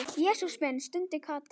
Jesús minn stundi Kata.